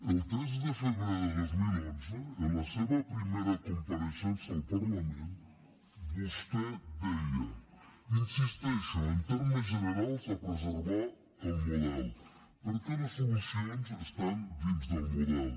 el tres de febrer de dos mil onze en la seva primera compareixença al parlament vostè deia insisteixo en termes generals a preservar el model perquè les solucions estan dins del model